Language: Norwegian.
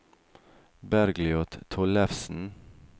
Bergljot Tollefsen